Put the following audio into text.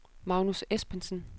Magnus Espensen